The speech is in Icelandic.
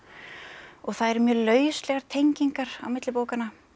og það eru mjög lauslegar tengingar á milli bókanna